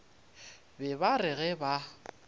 be ba re ge ba